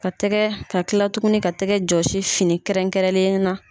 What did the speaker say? Ka tɛgɛ ka kila tugunni ka tɛgɛ jɔsi fini kɛrɛnkɛrɛnneya la.